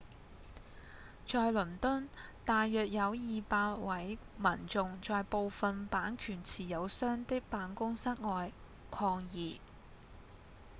在倫敦大約有200位民眾在部份版權持有商的辦公室外抗議